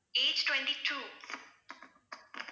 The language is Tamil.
age twenty-two